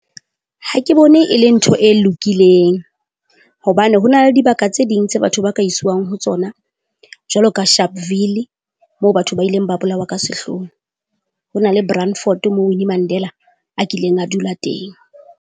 Ha ke bone e le ntho e lokileng, hobane ho na le dibaka tse ding tse batho ba ka iswang ho tsona jwalo ka Sharpville, moo batho ba ileng ba bolawa ka sehloho, ho na le Brandfort moo Winnie Mandela a kileng a dula teng.